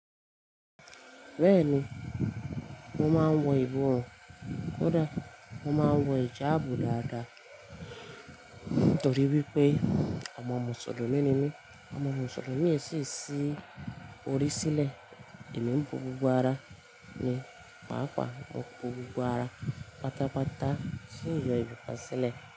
Bẹ́ẹ̀ni, mo máa ń wọ ìbọrùn, kódà mo máa ń wọ ẹja àábò dáadáa nítorí wípé ọmọ Mùsùlùmí ni mí. Ọmọ Mùsùlùmí ẹ sì ṣì orí sílẹ̀, èmi ń bò gbogbo ara ni, pàápàá mo bò gbogbo ara, pátápátá sì ń yan ẹ bá ṣẹlẹ̀.